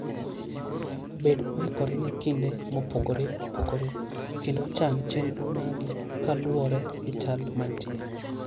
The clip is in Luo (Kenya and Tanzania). Bed moikore ne kinde mopogore opogore, kendo chan chenro magi kaluwore gi chal mantie.